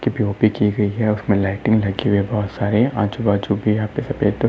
की गयी है और उसमे लाइटिंग लगी है बहोत सारे। आजू-बाजू भी यहाँ पे सफ़ेद --